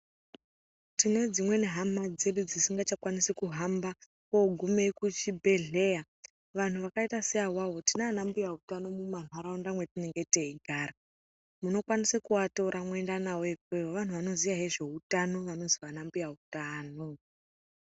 Tine dzimweni hama dzedu dzisingachakwanisi kuhamba kogume kuchibhedhleyaa. Vanhu vakaita seawawo tinana mbuya utano mumanharaunda metinenge teigara, munokwanisa kuvatora mwoenda navo ikweyo, vantu vanoziya ngezveutano vanonzi vana mbuya utano.